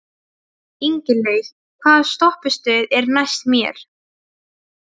Ingilaug, hvaða stoppistöð er næst mér?